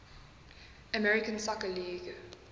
american soccer league